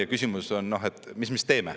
Ja küsimus on, et mis me siis teeme.